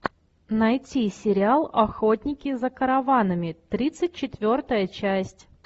найти сериал охотники за караванами тридцать четвертая часть